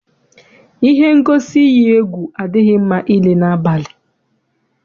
Ihe ngosi iyi egwu adịghị mma ile n'abalị.